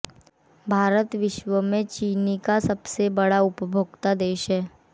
भारत विश्व में चीनी का सबसे बड़ा उपभोक्ता देश है